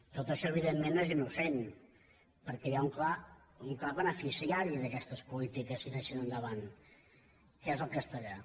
tot això evidentment no és innocent perquè hi ha un clar beneficiari d’aquestes polítiques si anessin endavant que és el castellà